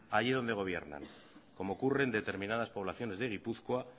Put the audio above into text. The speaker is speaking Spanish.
allí donde gobiernan como ocurre en determinadas poblaciones de gipuzkoa